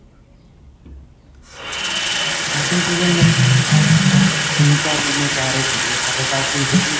second season may be ਅਜੇਗਾ ਤਿੰਨ ਚਾਰ ਮਹੀਨੇ ਕਿਹ ਰਹੇ ਸੀਗੇ ਹਲੇ ਤਾਂ teaser ਹੀ